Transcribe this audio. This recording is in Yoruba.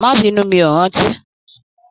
Má binu, mi o rántí.